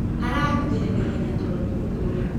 Aranogĩre naĩhenya tondu nĩmũkũrũ.